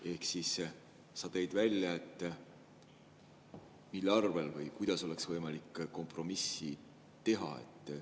Ehk siis, sa tõid välja, kuidas oleks võimalik kompromissi teha.